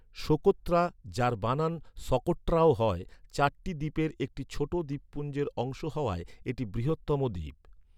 Socotra, যার বানান সকোট্রাও হয়, চারটি দ্বীপের একটি ছোট দ্বীপপুঞ্জের অংশ হওয়ায় এটি বৃহত্তম দ্বীপ।